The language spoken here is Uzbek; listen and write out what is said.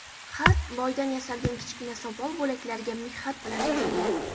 Xat loydan yasalgan kichkina sopol bo‘laklariga mixxat bilan yozilgan.